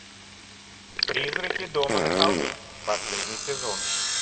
призраки дома на холме последний сезон